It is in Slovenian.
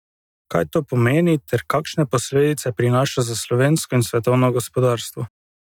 Kaj to pomeni ter kakšne posledice prinaša za slovensko in svetovno gospodarstvo?